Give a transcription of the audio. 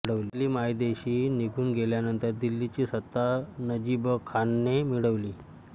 अब्दाली मायदेशी निघून गेल्यानंतर दिल्लीची सत्ता नजीबखानाने मिळवली